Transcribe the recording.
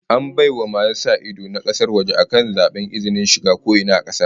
An bai wa masu sa ido na kasar waje akan zaben izinin shiga ko ina a kasar